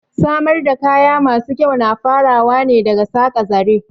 Samar da kaya masu kyau na farawa ne daga saƙa zare